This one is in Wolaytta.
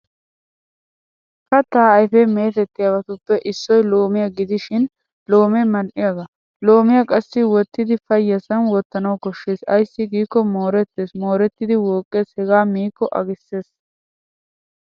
Kattaa ayfe meetettiyabatuppe issoy loomiya gidishin loomee madhdhiyagaa. Loomiyaa qassi wottiiddi payyasan wottanawu koshshes ayssi giikko moorettes moorettidi wooqqes hegaa miikko agisses.